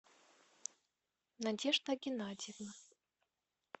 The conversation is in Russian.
надежда геннадьевна